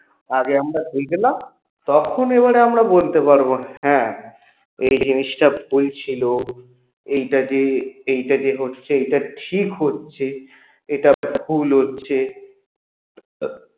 আগে আমরা দেখলাম তখন এবারে আমরা বলতে পারবো হ্যাঁ এই জিনিসটা ভুল ছিল এইটাকে এইটাকে হচ্ছে এটা ঠিক হচ্ছে এটা ভুল হচ্ছে